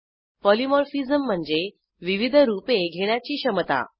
polymorphism म्हणजे विविध रूपे घेण्याची क्षमता